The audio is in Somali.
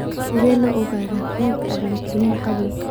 Sidee loo ogaadaa cudurka agglutinin qabow?